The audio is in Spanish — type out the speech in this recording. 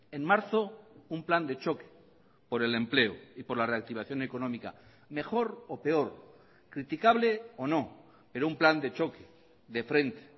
en marzo un plan de choque por el empleo y por la reactivación económica mejor o peor criticable o no pero un plan de choque de frente